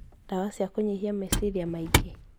Ndawa cia kũnyihia meciria maingĩ